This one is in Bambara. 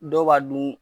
Dɔw b'a dun